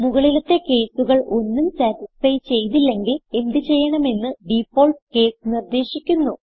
മുകളിലത്തെ കേസുകൾ ഒന്നും സതിസ്ഫൈ ചെയ്തില്ലെങ്കിൽ എന്ത് ചെയ്യണമെന്ന് ഡിഫാൾട്ട് കേസ് നിർദ്ദേശിക്കുന്നു